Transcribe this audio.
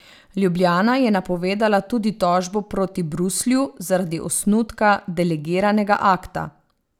Ljubljana je napovedala tudi tožbo proti Bruslju zaradi osnutka delegiranega akta.